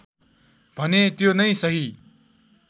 भने त्यो नै सही